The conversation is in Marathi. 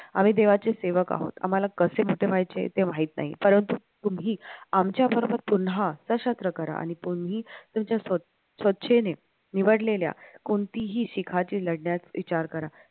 आम्ही देवाचे सेवक आहोत आम्हाला कसे मोठे व्हायचे ते माहित नाही परंतु तुम्ही आमच्याबरोबर पुन्हा सशस्त्र करा आणि तुम्ही तुमच्या स्वच्छेने निवडलेल्या कोणतीही शिखांची लढण्यास विचार करा